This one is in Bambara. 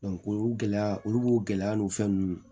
o gɛlɛya olu b'o gɛlɛya n'o fɛn ninnu